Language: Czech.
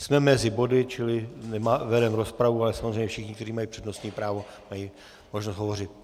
Jsme mezi body, čili vedeme rozpravu, ale samozřejmě všichni, kteří mají přednostní právo, mají možnost hovořit.